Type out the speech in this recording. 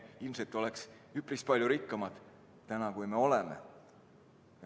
Me oleks üpris palju rikkamad täna, kui me oleme.